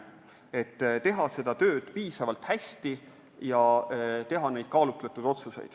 Püüan teha seda tööd piisavalt hästi ja langetada kaalutletud otsuseid.